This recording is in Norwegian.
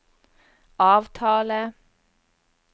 avtale